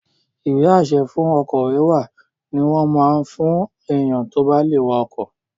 Ìwé-àṣẹ fún ọkọ̀ wíwà ní wọ́n máa n fún èèyàn tó bá lè wa ọkọ̀